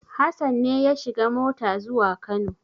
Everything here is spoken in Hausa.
Hassan ne ya shiga mota zuwa Kano.